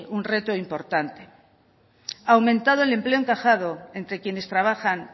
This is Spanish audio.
un reto importante ha aumentado el empleo encajado entre quienes trabajan